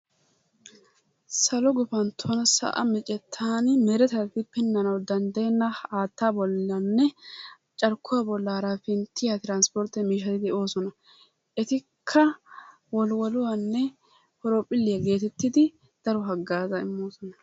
Salo guppantton sa'a miccettaan meretati pinanawu danddayeenna haattaa bollanne carkkuwa bollaara pinttiyaa trspporttee miishshati de'oosona. Etikka wolwoluwanne horoophilliya gettettidi daro haggaazaa immoosona.